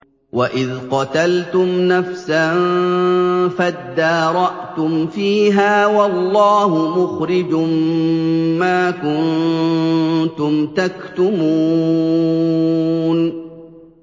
وَإِذْ قَتَلْتُمْ نَفْسًا فَادَّارَأْتُمْ فِيهَا ۖ وَاللَّهُ مُخْرِجٌ مَّا كُنتُمْ تَكْتُمُونَ